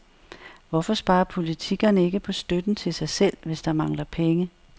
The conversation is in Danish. Hvorfor sparer politikerne ikke på støtten til sig selv, hvis der mangler penge?